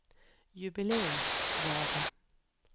jubileumsgave